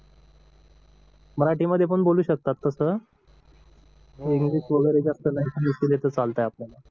मराठीध्ये पण बोलू शकता तस इंग्लिश वगैरे जास्त नाही युज केली तर चालतंय आपल्याला